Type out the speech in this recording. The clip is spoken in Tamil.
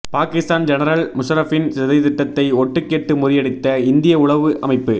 பாகிஸ்தான் ஜெனரல் முஷரஃபின் சதித்திட்டத்தை ஒட்டு கேட்டு முறியடித்த இந்திய உளவு அமைப்பு